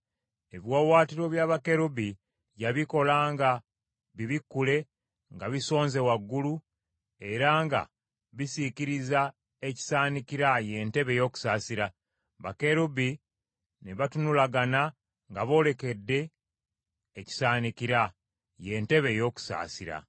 Ebiwaawaatiro bya bakerubi yabikola nga bibikkule nga bisonze waggulu, era nga bisiikirizza ekisaanikira, ye ntebe ey’okusaasira. Bakerubi ne batunulagana nga boolekedde ekisaanikira, ye ntebe ey’okusaasira.